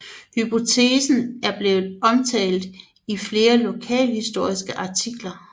Hypotesen er blevet omtalt i flere lokalhistoriske artikler